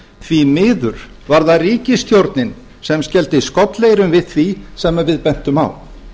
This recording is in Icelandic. því miður var það ríkisstjórnin sem skellti skollaeyrum við því sem við bentum á